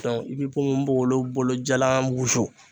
i bɛ ponponpogolon bolo jalan wusu